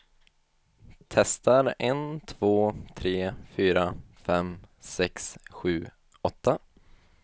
Testar en två tre fyra fem sex sju åtta.